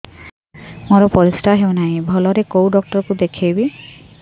ମୋର ପରିଶ୍ରା ହଉନାହିଁ ଭଲରେ କୋଉ ଡକ୍ଟର କୁ ଦେଖେଇବି